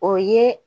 O ye